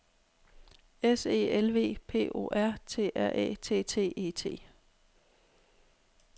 S E L V P O R T R Æ T T E T